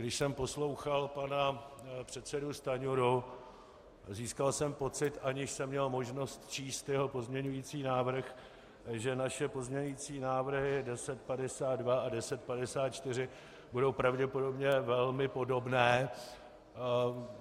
Když jsem poslouchal pana předsedu Stanjuru, získal jsem pocit, aniž jsem měl možnost číst jeho pozměňující návrh, že naše pozměňující návrhy 1052 a 1054 budou pravděpodobně velmi podobné.